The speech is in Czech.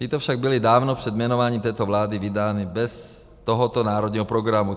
Tyto však byly dávno před jmenováním této vlády vydány bez tohoto národního programu.